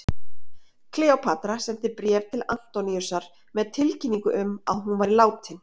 Kleópatra sendi bréf til Antoníusar með tilkynningu um að hún væri látin.